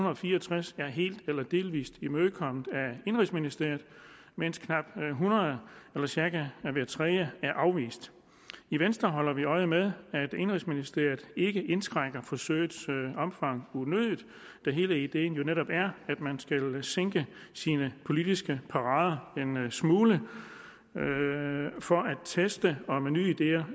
og fire og tres er helt eller delvis imødekommet af indenrigsministeriet mens knap hundrede eller cirka hver tredje er afvist i venstre holder vi øje med at indenrigsministeriet ikke indskrænker forsøgets omfang unødigt da hele ideen jo netop er at man skal sænke sine politiske parader en smule for at teste om nye ideer